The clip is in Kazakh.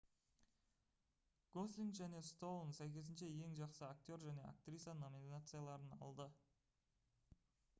гослинг және стоун сәйкесінше ең жақсы актер және актриса номинацияларын алды